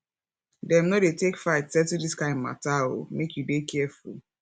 dem no dey take fight settle dis kind mata o make you dey careful